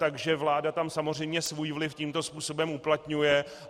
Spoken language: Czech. Takže vláda tam samozřejmě svůj vliv tímto způsobem uplatňuje.